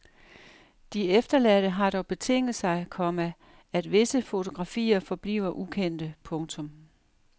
De efterladte har dog betinget sig, komma at visse fotografier forbliver ukendte. punktum